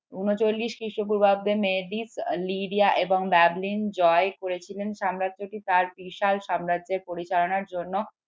ঊন চল্লিশ খ্রিস্টপূর্বাব্দে জয় করেছিলেন সাম্রাজ্যটি তার বিশাল সাম্রাজ্যের পরিচালনার জন্য